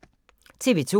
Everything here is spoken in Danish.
TV 2